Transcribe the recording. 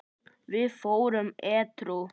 Við vorum edrú.